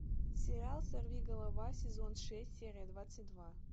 сериал сорвиголова сезон шесть серия двадцать два